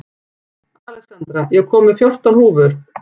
Alexandra, ég kom með fjórtán húfur!